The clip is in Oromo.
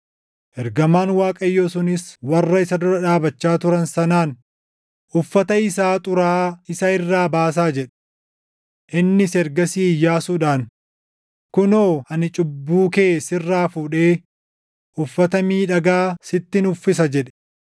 Ergamaan Waaqayyoo sunis warra isa dura dhaabachaa turan sanaan, “Uffata isaa xuraaʼaa isa irraa baasaa” jedhe. Innis ergasii Iyyaasuudhaan, “Kunoo ani cubbuu kee sirraa fuudhee uffata miidhagaa sittin uffisa” jedhe.